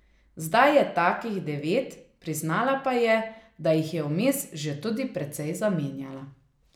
Zdaj je takih devet, priznala pa je, da jih je vmes že tudi precej zamenjala.